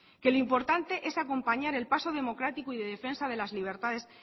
que lo importante es acompañar el paso democrático y de defensa de las libertades